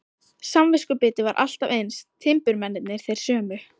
Samviskubitið var alltaf eins, timburmennirnir þeir sömu.